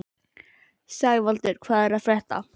Sævaldur, hvað er að frétta?